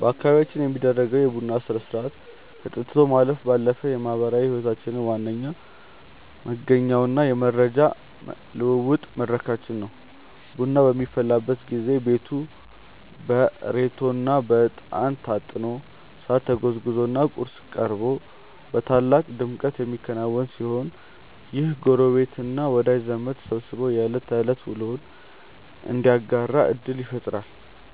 በአካባቢያችን የሚደረገው የቡና ሥርዓት ከጠጥቶ ማለፍ ባለፈ የማኅበራዊ ሕይወታችን ዋነኛ መገኛውና የመረጃ ልውውጥ መድረካችን ነው። ቡናው በሚፈላበት ጊዜ ቤቱ በሬቶና በዕጣን ታጥኖ፣ ሳር ተጎዝጉዞና ቁርስ ቀርቦ በታላቅ ድምቀት የሚከናወን ሲሆን፣ ይህም ጎረቤትና ወዳጅ ዘመድ ተሰባስቦ የዕለት ተዕለት ውሎውን እንዲያጋራ ዕድል ይፈጥራል።